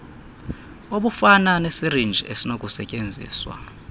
obufana nesirinji esinokusetyenziswa